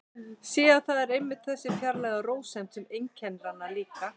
Sé að það er einmitt þessi fjarlæga rósemd sem einkennir hana líka.